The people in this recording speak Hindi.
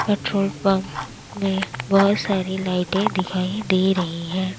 पेट्रोल पंप में बहोत सारी लाइटें दिखाई दे रही हैं।